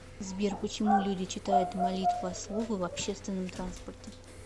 сбер почему люди читают молитвословы в общественном транспорте